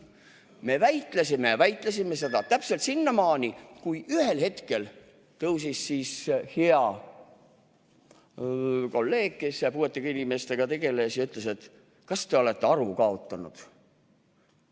Me väitlesime ja väitlesime, täpselt sinnamaani, kui ühel hetkel tõusis püsti hea kolleeg, kes puuetega inimestega tegeles, ja ütles: "Kas te olete aru kaotanud?